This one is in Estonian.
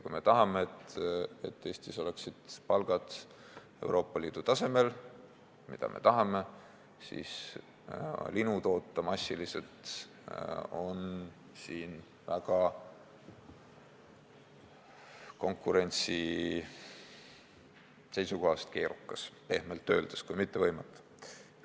Kui me tahame, et Eestis oleksid palgad Euroopa Liidu tasemel , siis linu siin massiliselt toota on konkurentsi seisukohast väga keerukas, pehmelt öeldes, kui mitte võimatu.